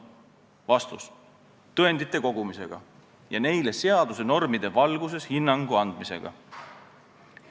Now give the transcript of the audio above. Vastus: tõendite kogumisega ja neile seaduse normide valguses hinnangu andmisega.